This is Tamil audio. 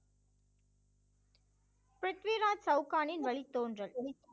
பிரித்விராஜ் சவுகானின் வழித்தோன்றல்